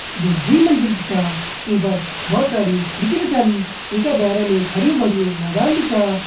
जो दुइ मंजिल छा ईं पर बहौत सारी खिड़की भी छन इंका भैरम एक हर्युं-भर्युं मैदान भी छा।